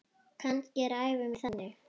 Kannski er ævi mín þannig.